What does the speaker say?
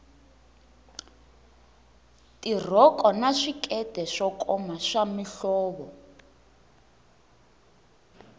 tirhoko na swikete swo koma swa mihlovo